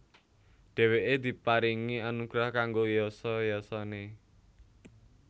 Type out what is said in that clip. Dhèwèké diparingi anugrah kanggo yasa yasané